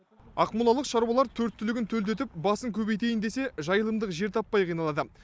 ақмолалық шаруалар төрт түлігін төлдетіп басын көбейтейін десе жайылымдық жер таппай қиналады